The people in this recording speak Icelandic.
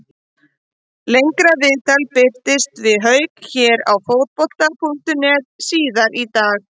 Lengra viðtal birtist við Hauk hér á Fótbolta.net síðar í dag.